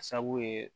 Sabu ye